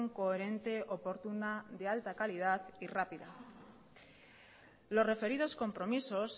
coherente oportuna de alta calidad y rápida los referidos compromisos